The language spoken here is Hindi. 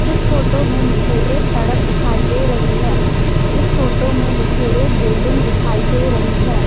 इस फोटो में मुझे एक सड़क दिखाई दे रही है इस फोटो में मुझे एक बिल्डिंग दिखाई दे रही है।